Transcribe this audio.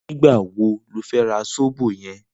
Nigbá wó ló fè rà sóbó yèn?